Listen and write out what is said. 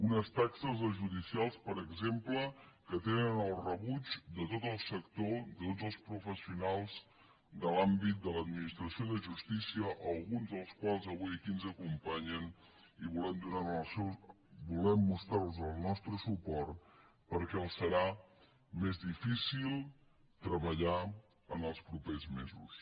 unes taxes les judicials per exemple que tenen el rebuig de tot el sector de tots els professionals de l’àmbit de l’administració de justícia alguns dels quals avui aquí ens acompanyen i volem mostrar los el nostre suport perquè els serà més difícil treballar en els propers mesos